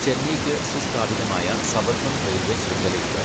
ചെന്നൈയ്ക്ക് സുസ്ഥാപിതമായ suburban railway ശൃംഖലയുണ്ട്.